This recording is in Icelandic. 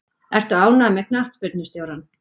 Ertu ánægður með knattspyrnustjórann?